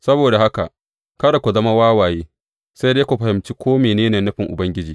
Saboda haka kada ku zama wawaye, sai dai ku fahimci ko mene ne nufin Ubangiji.